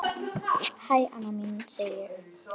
Hæ, amma mín, segi ég.